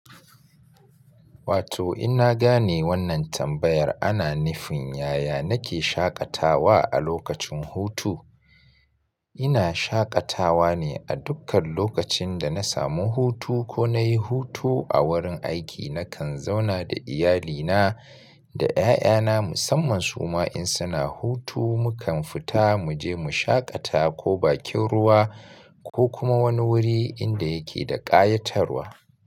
Wato in na gane wannan tambayar ana nufin yaya nake shaƙatawa a lokacin hutu. Ina shaƙatawa ne a dukkan lokacin da na samu hutu ko na yi hutu a wurin aiki nakan zauna da iyalina da 'ya'yana musamman su ma in suna hutu mukan fita mu je mu shaƙata ko bakin ruwa ko kuma wani wuri inda yake da ƙayatarwa.